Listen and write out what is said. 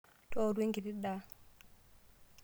Tooru enkiti daa.